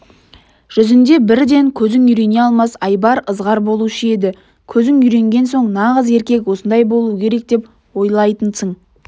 жүзінде бірден көзің үйрене алмас айбар ызғар болушы еді көзің үйренген соң нағыз еркек осындай болу керек деп ойлайтынсың